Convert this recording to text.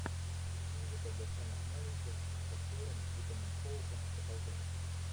физика для самых маленьких с актером итоном хоуком покажи